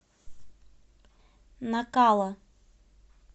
накала